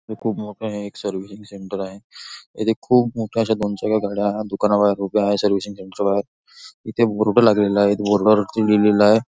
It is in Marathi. हे खूप मोकळं एक सर्विसिंग सेंटर आहे. इथे खूप मोठे अशा दोन चार गाड्या दुकाना बाहेर उभ्या आहे सर्विसिंग सेंटर च्या बाहेर इथे बोर्ड लागलेला आहे बोर्ड वरती लिहिलेल आहे.